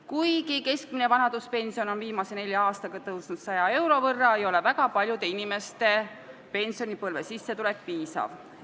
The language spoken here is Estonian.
Kuigi keskmine vanaduspension on viimase nelja aastaga tõusnud 100 euro võrra, ei ole väga paljude inimeste pensionipõlve sissetulek piisav.